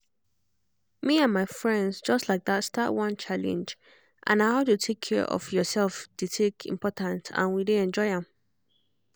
me and my friends just like start one challenge and na how to take care of yourself take dey important and we dey enjoy am